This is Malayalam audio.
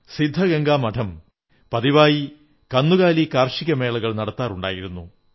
സിദ്ധഗംഗാ മഠം പതിവായി കന്നുകാലി കാർഷിക മേളകൾ നടത്താറുണ്ടായിരുന്നു